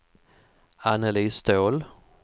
Anneli Ståhl